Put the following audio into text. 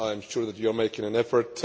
I am sure that you are making an effort.